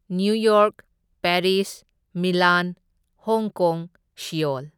New York, Paris, Milan, Hong Kong, Seoul.